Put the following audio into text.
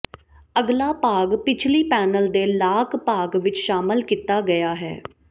ਅਗਲਾ ਭਾਗ ਪਿਛਲੀ ਪੈਨਲ ਦੇ ਲਾਕ ਭਾਗ ਵਿੱਚ ਸ਼ਾਮਲ ਕੀਤਾ ਗਿਆ ਹੈ